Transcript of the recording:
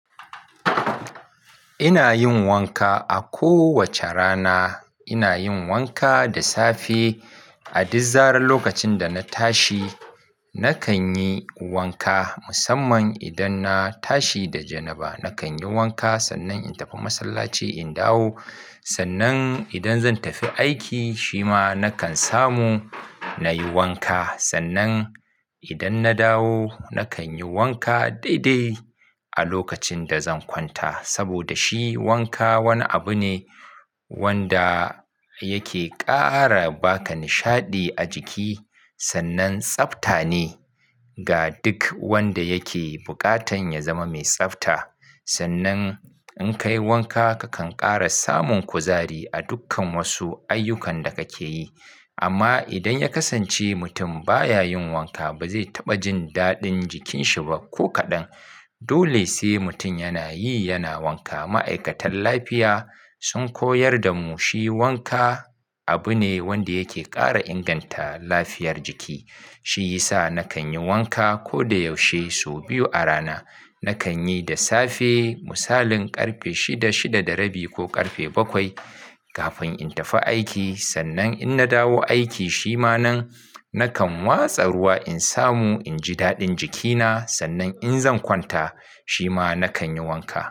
Ina yin wanka a kowace rana. Ina yin wanka da safe a duk zaran lokacin da na tashi. Nakan yi wanka musamman idan na tashi da janaba. Nakan yi wanka sannan in tafi masallaci in dawo. Sannan idan zan tafi aiki shi ma nakan samu na yi wanka. Sannan idan na dawo nakan yi wanka dai dai a lokacin da zan kwanta. Saboda shi wanka wani abu ne wanda yake ƙara baka nishaɗi a jiki sannan tsafta ne ga duk wanda yake buƙatan ya zama mai tsafta. Sannan in ka yi wanka ka kan ƙara samun kuzari a dukkan wasu ayyukan da kake yi. Amma idan ya kasance mutum baya yin wanka ba zai taɓa jin daɗin jikin shi ba ko kaɗan. Dole sai mutum yana yi yana wanka. Ma'aikatan lafiya sun koyar da mu shi wanka abu ne wanda yake ƙara inganta lafiyar jiki. Shi yasa nakan yi wanka ko da yaushe sau biyu a rana. Nakan yi da safe misalin ƙarfe shida shida da rabi ko ƙarfe bakwai kafin in tafi aiki sannan in na dawo aiki shi ma nan nakan watsa ruwa in samu in ji daɗin jikina sannan in zan kwanta shi ma nakan yi wanka.